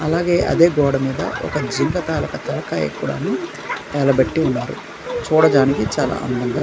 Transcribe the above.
అలాగే అదే గోడ మీద ఒక జింక తాలుక తలకాయ కూడాను వేలాబెట్టి ఉన్నారు చూడడానికి చాలా అందంగా--